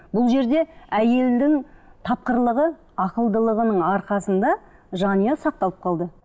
бұл жерде әйелдің тапқырлығы ақылдылығының арқасында жанұя сақталып қалды